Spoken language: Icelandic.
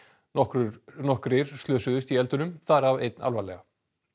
nokkrir nokkrir slösuðust í eldunum þar af einn alvarlega